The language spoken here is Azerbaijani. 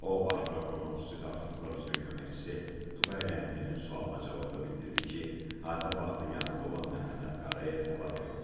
O, baş prokurorun xüsusi tapşırıqlar üzrə köməkçisi Tuqay Rəhimlinin sualına cavabda bildirdi ki, hadisə vaxtı yanında olan Məhəmməd Qarayev həlak olub.